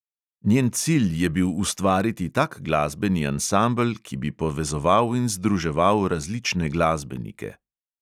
Njen cilj je bil ustvariti tak glasbeni ansambel, ki bi povezoval in združeval različne glasbenike.